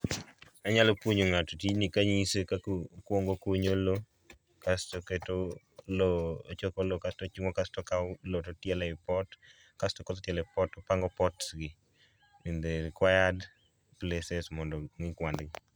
Anyalo puonjo ng'ato tijni kanyise kako kwongo okunyo lowo, kasto oketo lowo ochoko lowo kasto chungo kasto okao lowo to tielo ei pot, kasto kosetiele pot topango pots gi in the required places mondo ong'i kwand.